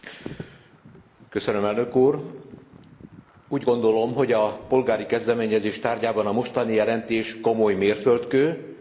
Úgy gondolom, hogy a polgári kezdeményezés tárgyában a mostani jelentés komoly mérföldkő, nem véletlenül foglalkozott vele három szakbizottság.